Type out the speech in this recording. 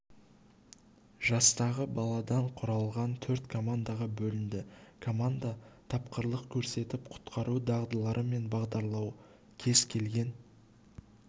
жастағы баладан құралған төрт командаға бөлінді команда тапқырлық көрсетіп құтқару дағдылары мен бағдарлау кез келген